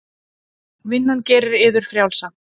Vinnan gerir yður frjálsa.